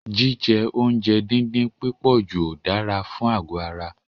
Jíjẹ oúnjẹ díndín pípọ̀jù ò dára fún àgọ̀ ara.